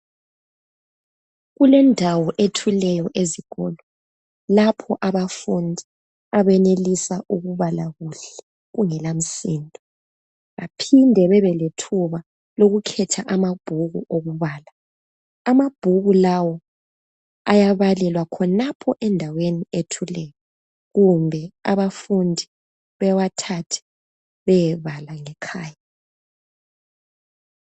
Kulendawo ethuleyo ezikolo lapho abafundi abenelisa ukubala kuhle kungela msindo, baphinde babe lethuba lokukhetha amabhuku okubala. Amabhuku lawo ayabalelwa khonapho endaweni ethuleyo kumbe abafundi bewathathe beyebala ngekhaya.